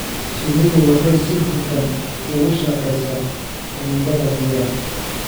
Shinnidu waxay si hufan ugu shaqeysaa cimilada diiran.